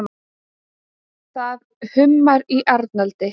Það hummar í Arnaldi.